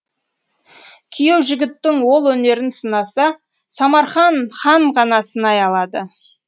күйеу жігіттің ол өнерін сынаса самархан хан ғана сынай алады